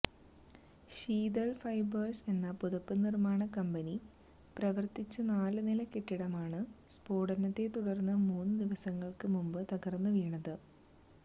Sital fibres എന്ന പുതപ്പ് നിര്മാണ കമ്പനി പ്രവര്ത്തിച്ച നാലുനില കെട്ടിടമാണ് സ്ഫോടനത്തെത്തുടര്ന്ന് മൂന്ന് ദിവസങ്ങള്ക്ക് മുമ്പ് തകര്ന്ന് വീണത്